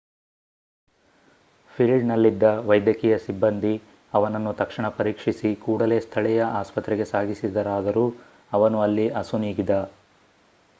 ಫೀಲ್ಡ್‌ನಲ್ಲಿದ್ದ ವೈದ್ಯಕೀಯ ಸಿಬ್ಬಂದಿ ಅವನನ್ನು ತಕ್ಷಣ ಪರೀಕ್ಷಿಸಿ ಕೂಡಲೇ ಸ್ಥಳೀಯ ಆಸ್ಪತ್ರೆಗೆ ಸಾಗಿಸಿದರಾದರೂ ಅವನು ಅಲ್ಲಿ ಅಸುನೀಗಿದ